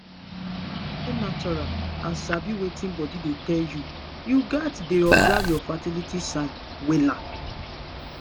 to dey natural and sabi wetin body dey tell you you gats dey observe your fertility signs wella